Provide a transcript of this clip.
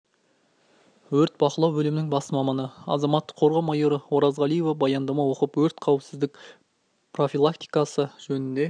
өрт бақылау бөлімінің бас маманы азаматтық қорғау майоры оразғалиева баяндама оқып өрт қауіпсіздігі профилактикасы жөнінде